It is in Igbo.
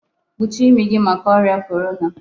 kpuchie imi gi maka oria Korona